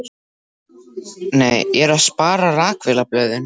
Nei, ég er að spara. rakvélarblöðin.